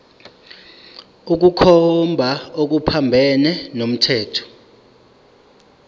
ukukhomba okuphambene nomthetho